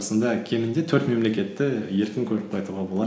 сонда кемінде төрт мемлекетті еркін көріп қайтуға болады